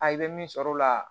A i bɛ min sɔrɔ o la